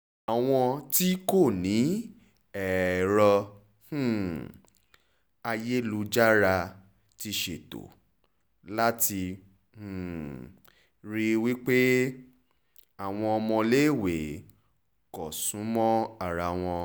àwọn tí kò ní èrò um ayélujára ti ṣètò láti um rí i pé àwọn ọmọléèwé kò sún mọ́ ara wọn